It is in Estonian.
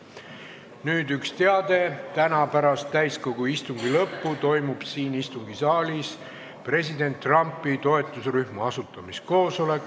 Nüüd üks teade: täna pärast täiskogu istungi lõppu toimub siin istungisaalis president Trumpi toetusrühma asutamiskoosolek.